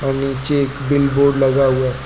और नीचे एक बिल बोर्ड लगा हुआ--